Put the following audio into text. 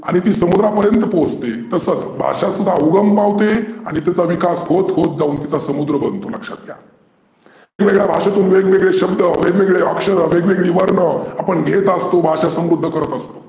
आणि ती समुद्रापर्यंत पोहचते तसचं भाषा सुद्धा उगम पावते आणि तिचा विकास होत होत जाऊन त्याचा समुद्र बनतो लक्षात घ्या. वेग वेगळ्या भाषेतून वेगवेगळे शब्द, वेगवेगळे अक्षर, वेगवेगळे वर्ण आपण घेत असतो भाषा समृद्ध करत असतो.